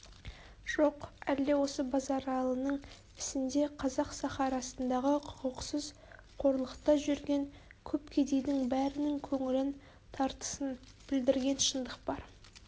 жоқ әлде осы базаралының ісінде қазақ сахарасындағы құқықсыз қорлықта жүрген көп кедейдің бәрінің көңілін тартысын білдірген шындық бар